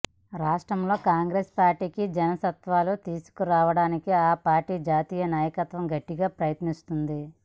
రాష్ట్రంలో కాంగ్రెస్ పార్టీకి జవసత్వాలు తీసుకురావడానికి ఆ పార్టీ జాతీయ నాయకత్వం గట్టిగా ప్రయత్నిస్తోంది